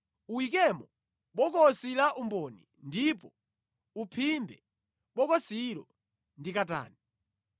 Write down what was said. Uyikemo bokosi la umboni ndipo uphimbe bokosilo ndi katani.